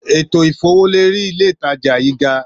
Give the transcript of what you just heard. Ètò ìfowólérí ilé ìtajà yí gaa